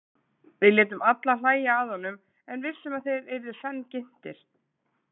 Við létum alla hlæja að honum en vissum að þeir yrðu senn ginntir.